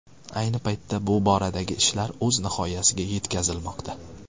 Ayni paytda bu boradagi ishlar o‘z nihoyasiga yetkazilmoqda.